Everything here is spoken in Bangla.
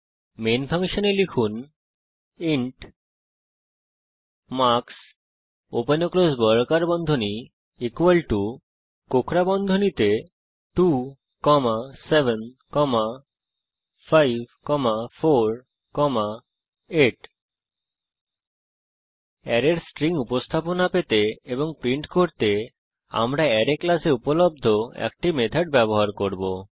প্রধান ফাংশনের মধ্যে লিখুন ইন্ট মার্কস ওপেন এবং ক্লোস বর্গাকার বন্ধনী বন্ধনীতে 2 7 5 4 8 অ্যারের স্ট্রিং উপস্থাপনা পেতে এবং প্রিন্ট করতে আমরা অ্যারে ক্লাসে উপলব্ধ একটি মেথড ব্যবহার করব